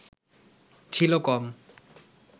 ছিল কম